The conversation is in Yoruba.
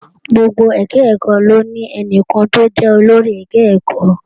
Gbogbo ẹka ẹ̀kọ́ ló ní enìkan tó jẹ́ olórí ẹka ẹ̀kọ́.